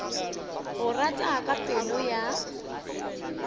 go rata ka pelo ya